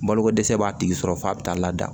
Balokodɛsɛ b'a tigi sɔrɔ f'a bɛ taa lada